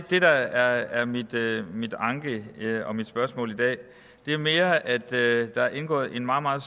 det der er min anke og mit spørgsmål i dag det er mere at der er indgået en meget meget